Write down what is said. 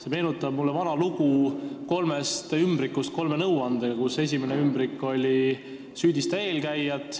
See meenutab mulle vana lugu kolmest ümbrikust nõuannetega, millest esimene oli: "Süüdista eelkäijat.